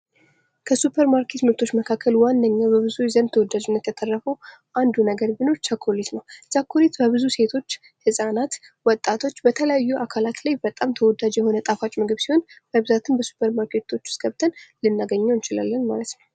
ከሱፐርማርኬት ምርቶች መካከል ዋነኛው በብዙዎች ዘንድ ተወዳጅነትን ያተረፈው አንዱ ነገር ቢኖር ቸኮሌት ነው ። ቸኮሌት በብዙ ሴቶች ፣ ህጻናት ፣ ወጣቶች በተለያዩ አካላት ላይ በጣም ተወዳጅ የሆነ ጣፋጭ ምግብ ሲሆን በብዛትም በሱፐርማርኬቶች ውስጥ ገብተን ልናገኘው እንችላለን ማለት ነው ።